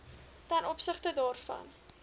ten opsigte daarvan